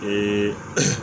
Ee